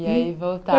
E aí